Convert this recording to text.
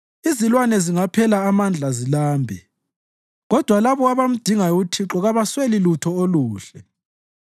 Izilwane zingaphela amandla zilambe, kodwa labo abamdingayo uThixo kabasweli lutho oluhle.